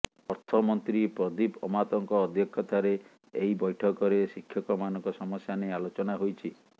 ଅର୍ଥମନ୍ତ୍ରୀ ପ୍ରଦୀପ ଅମାତଙ୍କ ଅଧ୍ୟକ୍ଷତାରେ ଏହି ବୈଠକରେ ଶିକ୍ଷକମାନଙ୍କ ସମସ୍ୟା ନେଇ ଆଲୋଚନା ହୋଇଛି